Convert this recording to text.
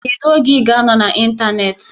Kedu oge ị ga-anọ n'ịntanetị?